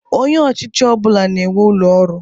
Onye ọchịchị ọbụla na-enwe ụlọ ọrụ.